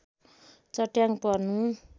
चट्याङ पर्नु